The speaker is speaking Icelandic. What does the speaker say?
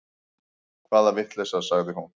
Hvaða vitleysa, sagði hún.